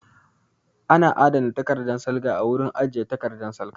Ana adana takardan salga a wurin ajiye takardan salga